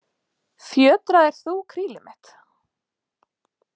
Fjötraðir þú krílið mitt?